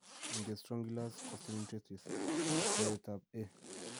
Angiostrongylus costaricensis, teretab A